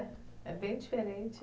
É bem diferente.